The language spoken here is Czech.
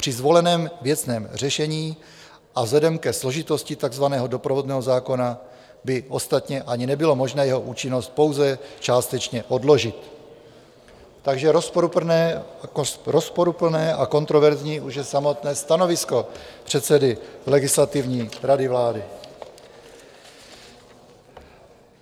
Při zvoleném věcném řešení a vzhledem ke složitosti takzvaného doprovodného zákona by ostatně ani nebylo možné jeho účinnost pouze částečně odložit, takže rozporuplné a kontroverzní už je samotné stanovisko předsedy Legislativní rady vlády.